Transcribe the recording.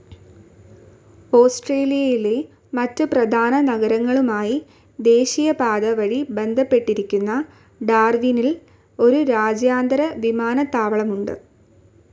ഓസ്ട്രേലിയയിലെ മറ്റു പ്രധാന നഗരങ്ങളുമായി ദേശീയപാത വഴി ബന്ധപ്പെട്ടിരിക്കുന്ന ഡാർവിനിൽ ഒരു രാജ്യാന്തര വിമാനത്താവളവുമുണ്ട്